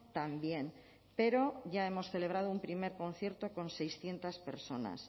también pero ya hemos celebrado un primer concierto con seiscientos personas